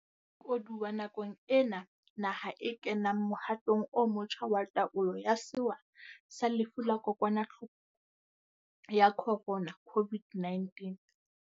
Koduwa nakong ena naha e kenang mohatong o motjha wa taolo ya sewa sa lefu la Kokwanahloko ya Khorona COVID-19.